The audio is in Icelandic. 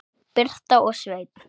Birta og Sveinn.